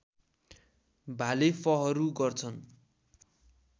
भाले फहरू गर्छन्